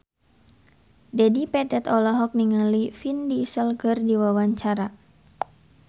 Dedi Petet olohok ningali Vin Diesel keur diwawancara